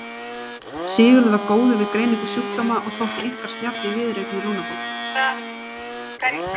Sigurður var góður við greiningu sjúkdóma og þótti einkar snjall í viðureign við lungnabólgu.